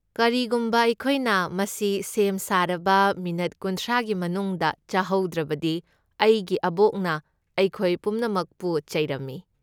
ꯀꯔꯤꯒꯨꯝꯕ ꯑꯩꯈꯣꯏꯅ ꯃꯁꯤ ꯁꯦꯝ ꯁꯥꯔꯕ ꯃꯤꯅꯠ ꯀꯨꯟꯊ꯭ꯔꯥꯒꯤ ꯃꯅꯨꯡꯗ ꯆꯥꯍꯧꯗ꯭ꯔꯕꯗꯤ ꯑꯩꯒꯤ ꯑꯕꯣꯛꯅ ꯑꯩꯈꯣꯏ ꯄꯨꯝꯅꯃꯛꯄꯨ ꯆꯩꯔꯝꯃꯤ꯫